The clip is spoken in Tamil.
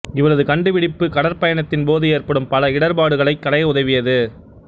இவரது கண்டுபிடிப்பு கடற்பயணத்தின் போது ஏற்படும் பல இடர்ப்பாடுகளைக் களைய உதவியது